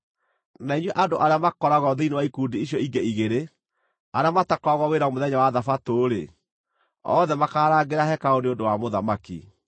na inyuĩ andũ arĩa makoragwo thĩinĩ wa ikundi icio ingĩ igĩrĩ, arĩa matakoragwo wĩra mũthenya wa thabatũ-rĩ, othe makaarangĩra hekarũ nĩ ũndũ wa mũthamaki.